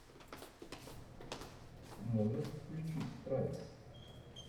можешь включить страйк